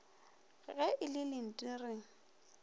ge e le lenti re